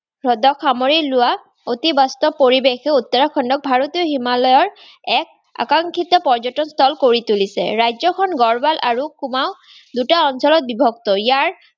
হ্ৰদক সামৰি লোৱা অতি বাস্তৱ পৰিবেশে উত্তৰাখণ্ডক ভাৰতৰ হিমালয়ৰ এক আকাংক্ষিত পৰ্য্যতক স্থল কৰি তুলিছে। ৰাজ্যখন গাঢ়ৱাল আৰু কুমাও দুটা অঞ্চলত বিভক্ত। ইয়াৰ